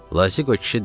Lazığo kişi dedi: